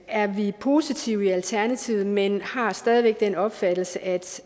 er vi positive i alternativet men har stadig væk den opfattelse at